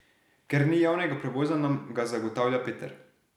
Ker ni javnega prevoza, nam ga zagotavlja Peter.